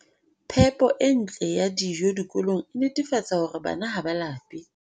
Phepo e ntle ya dijo dikolong e netefatsa hore bana ha ba lape